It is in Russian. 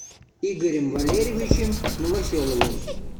игорем валерьевичем новоселовым